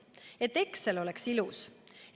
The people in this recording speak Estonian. Et Excel oleks ilus.